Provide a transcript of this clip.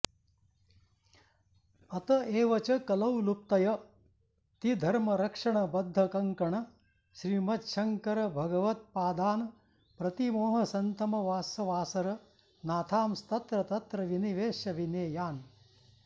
अत एव च कलौ लुप्तयतिधर्मरक्षणबद्धकङ्कणश्रीमच्छङ्करभगवत्पादान् प्रतिमोहसन्तमसवासरनाथांस्तत्र तत्र विनिवेश्य विनेयान्